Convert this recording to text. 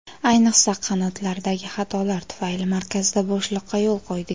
Ayniqsa, qanotlardagi xatolar tufayli markazda bo‘shliqqa yo‘l qo‘ydik.